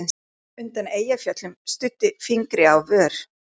Venus undan Eyjafjöllum studdi fingri á vör.